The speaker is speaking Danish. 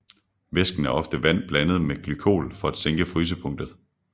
Væsken er ofte vand blandet med glykol for at sænke frysepunktet